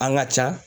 An ka ca